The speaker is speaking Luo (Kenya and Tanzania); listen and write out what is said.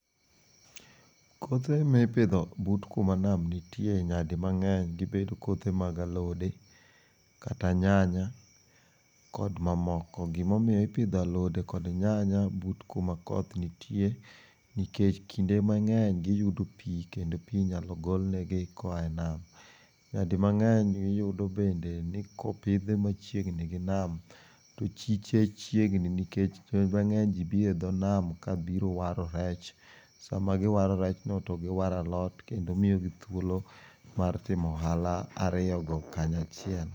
Kothe mi ipidho but ku ma nam nitie nya di ng'eny de bed ,kothe mag alode, kata nyanya kod ma moko. Gi mo omiyo ipidho alode kata nyanya but ka ma koth nitie nikech kinde mang'eny gi yudoo pi kendo pi inya gol ne gi e nam nya di mangeny be iyudo bende ni ka opidhe machiegni gi nam to chiche chiegni nikech ji mang'eny biro e dho nam ka biro waro rech sa ma gi waro rech no to gi waro alot to miyo gi thuolo mar timo ohala ariyo go kanyaachiel.